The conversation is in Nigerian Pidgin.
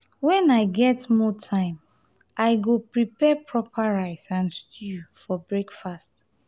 when i get more time i go prepare proper rice and stew for breakfast.